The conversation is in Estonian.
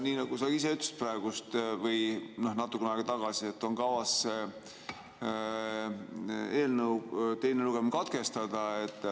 Nii nagu sa ise ütlesid praegu või natuke aega tagasi, on kavas eelnõu teine lugemine katkestada.